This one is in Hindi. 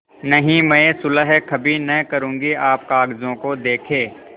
नहीं मैं सुलह कभी न करुँगी आप कागजों को देखें